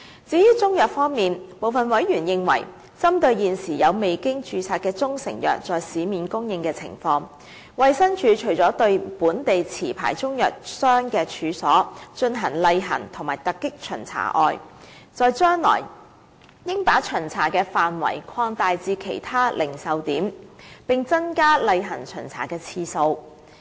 至於中成藥方面，部分委員認為，針對現時有未經註冊的中成藥在市面供應的情況，衞生署除了對本地持牌中藥商的處所進行例行和突擊巡查外，在將來亦應把巡查範圍擴大至其他零售點，並增加例行巡查的次數。